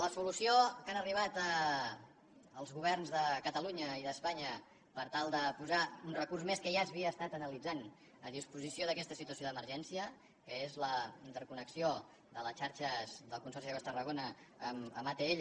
la solució a què han arribat els governs de catalunya i d’espanya per tal de posar un recurs més que ja s’havia estat analitzant a disposició d’aquesta situació d’emergència que és la interconnexió de les xarxes del consorci d’aigües de tarragona amb atll